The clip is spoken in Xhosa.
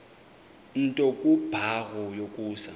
nto kubarrow yokusa